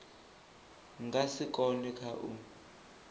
nga si kone kha u